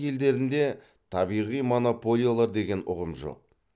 елдерінде табиғи монополиялар деген ұғым жоқ